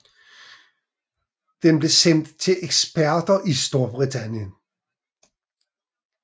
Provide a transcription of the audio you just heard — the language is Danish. Den blev sendt til eksperter i Storbritannien